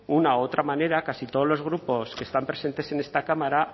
una u otra manera casi todos los grupos que están presentes en esta cámara